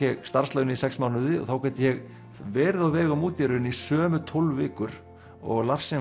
starfslaun í sex mánuði og þá gat ég verið á vegum úti í raun í sömu tólf vikur og